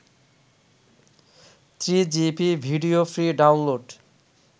3gp video free download